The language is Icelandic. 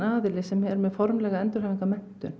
sem er með formlega